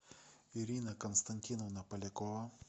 ирина константиновна полякова